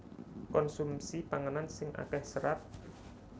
Konsumsi panganan sing akéh serat